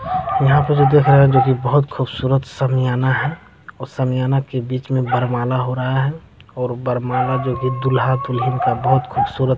यहाँ पर भी दिख रहा है जो की बहुत खूबसूरत समियाना है और समियाना के बीच में वरमाला हो रहा है और वरमाला जो की दूल्हा दुल्हन का बहुत खूबसूरत --